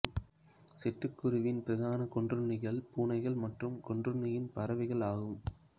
சிட்டுக்குருவியின் பிரதான கொன்றுண்ணிகள் பூனைகள் மற்றும் கொன்றுண்ணிப் பறவைகள் ஆகும்